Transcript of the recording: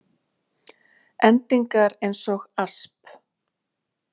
Endingar eins og asp.